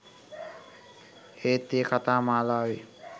ඒත් ඒ කතා මාලාවේ